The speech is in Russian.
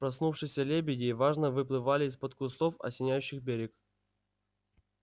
проснувшиеся лебеди важно выплывали из-под кустов осеняющих берег